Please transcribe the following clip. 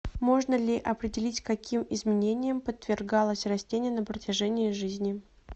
можно ли определить каким изменениям подвергалась растение на протяжении жизни